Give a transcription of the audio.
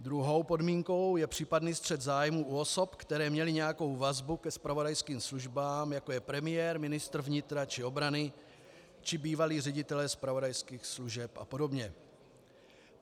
Druhou podmínkou je případný střet zájmů u osob, které měly nějakou vazbu ke zpravodajským službám, jako je premiér, ministr vnitra či obrany či bývalí ředitelé zpravodajských služeb a podobně.